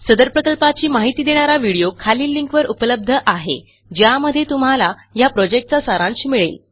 सदर प्रकल्पाची माहिती देणारा व्हिडीओ खालील लिंकवर उपलब्ध आहे ज्यामध्ये तुम्हाला ह्या प्रॉजेक्टचा सारांश मिळेल